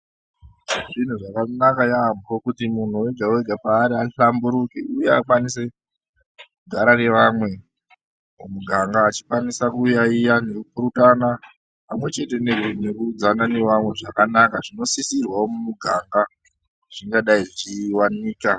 Zviro zvakanaka yaamho kuti munhu wega wega paari ahlamburuke uye akwanise kugara nevamwe mumiganga achikwanisa kuyayiya nekupurutana pamwechete nekukudzana nevamwe zvakanaka zvinosisirwawo mumuganga zvingadai zvichiwanika.